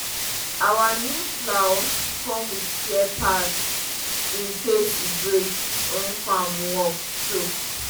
our new plow come with spare parts in case e break when farm work choke.